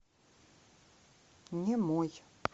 немой